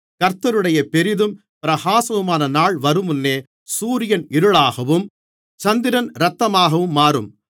கர்த்தருடைய பெரிதும் பிரகாசமுமான நாள் வரும்முன்னே சூரியன் இருளாகவும் சந்திரன் இரத்தமாகவும் மாறும்